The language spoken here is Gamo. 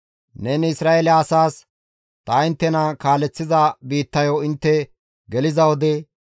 «Neni Isra7eele asaas, ‹Ta inttena kaaleththiza biittayo intte geliza wode,